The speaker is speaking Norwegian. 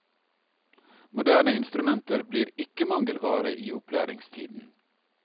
Moderne instrumenter blir ikke mangelvare i opplæringstiden.